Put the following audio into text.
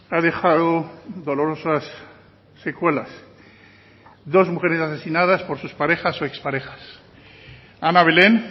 ha dejado dolorosas secuelas dos mujeres asesinadas por sus parejas o exparejas ana belén